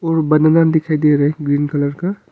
और बनाना दिखाई दे रए ग्रीन कलर का।